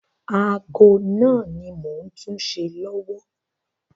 Ago náà ni mò ń túṣe lọ́wọ́.